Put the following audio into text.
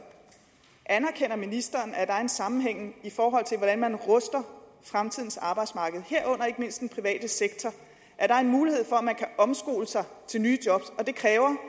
er anerkender ministeren at der er en sammenhæng mellem hvordan man ruster fremtidens arbejdsmarked herunder ikke mindst den private sektor og at der er en mulighed for at omskole sig til nye job og at det kræver